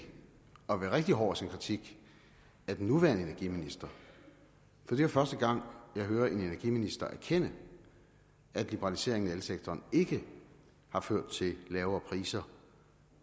at være rigtig hård i sin kritik af den nuværende energiminister for det er første gang jeg hører en energiminister erkende at liberaliseringen af elsektoren ikke har ført til lavere priser